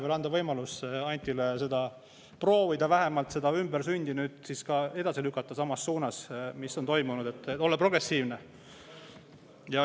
Anname Antile võimaluse vähemalt proovida seda ümbersündi, et nüüd siis edasi samas suunas, kuhu on, et olla progressiivne.